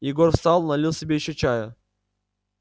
егор встал налил себе ещё чая